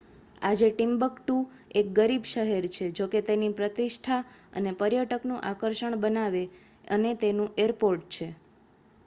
આજે ટિમ્બક્ટુ એક ગરીબ શહેર છે જોકે તેની પ્રતિષ્ઠા તેને પર્યટકનું આકર્ષણ બનાવે, અને તેનું એરપોર્ટ છે